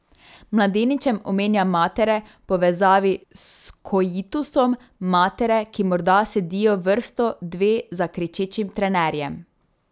Mladeničem omenja matere v povezavi s koitusom, matere, ki morda sedijo vrsto, dve za kričečim trenerjem.